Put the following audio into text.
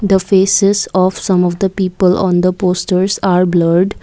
The faces of some of the people on the posters are blurred.